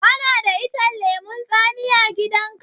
Kana da icen lemun tsami a gidan ka?